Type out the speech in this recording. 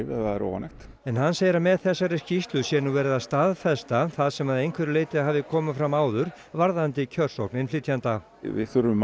ef það er óánægt en hann segir að með þessari skýrslu sé nú verið að staðfesta það sem að einhverju leyti hafi komið fram áður varðandi kjörsókn innflytjenda við þurfum